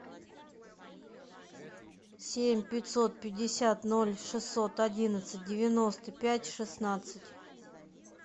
семь пятьсот пятьдесят ноль шестьсот одиннадцать девяносто пять шестнадцать